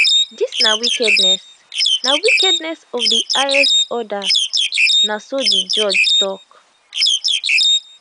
dis na wickedness na wickedness of di highest order na so di judge tok